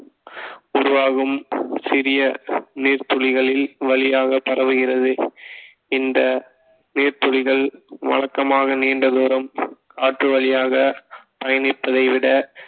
உருவாகும் சிறிய நீர்த்துளிகளில் வழியாக பரவுகிறது இந்த நீர்த்துளிகள் வழக்கமாக நீண்ட தூரம் காற்று வழியாக பயணிப்பதை விட